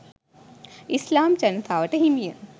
ඉස්ලාම් ජනතාවට හිමිය